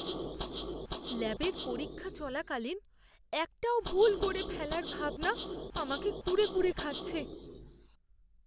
ল্যাবের পরীক্ষা চলাকালীন একটাও ভুল করে ফেলার ভাবনা আমাকে কুরে কুরে খাচ্ছে।